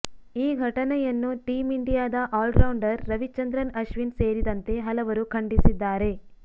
ಈ ಘಟನೆಯನ್ನು ಟೀಂ ಇಂಡಿಯಾದ ಆಲ್ ರೌಂಡರ್ ರವೀಚಂದ್ರನ್ ಅಶ್ವಿನ್ ಸೇರಿದಂತೆ ಹಲವರು ಖಂಡಿಸಿದ್ದಾರೆ